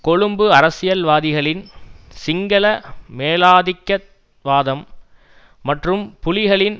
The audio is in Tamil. கொழும்பு அரசியல்வாதிகளின் சிங்கள மேலாதிக்க வாதம் மற்றும் புலிகளின்